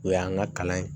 O y'an ka kalan ye